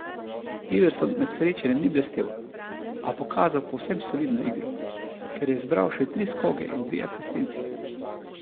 Iverson med srečanjem ni blestel, a pokazal povsem solidno igro, kjer je zbral še tri skoke in dve asistenci.